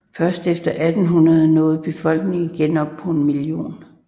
Først efter 1800 nåede befolkningen igen op på en million